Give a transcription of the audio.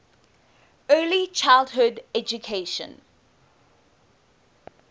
early childhood education